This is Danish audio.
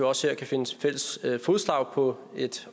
også her kan finde fælles fodslag på et